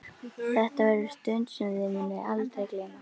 Þetta verður stund sem þau munu aldrei gleyma.